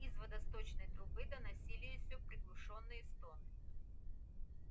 из водосточной трубы донеслись её приглушённые стоны